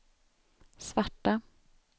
svarta